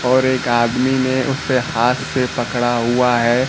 और एक आदमी ने उसे हाथ से पकड़ा हुआ है।